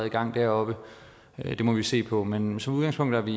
i gang deroppe det må vi se på men som udgangspunkt er vi